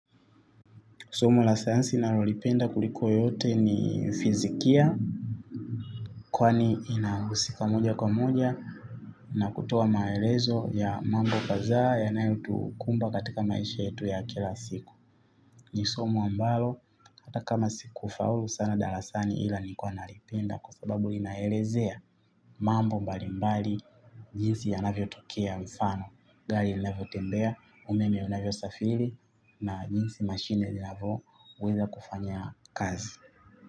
Somo la sayansi nalolipenda kuliko yote ni fizikia. Kwani inahusika moja kwa moja. Na kutoa maelezo ya mambo kadhaa yanayotukumba katika maisha yetu ya kila siku. Ni somo ambalo hata kama sikufaulu sana darasani ila nilikuwa nalipenda. Kwa sababu inaelezea mambo mbalimbali jinsi yanavyotokea mfano gari linavyotembea umeme unavyosafiri na jinsi mashine linavoweza kufanya kazi.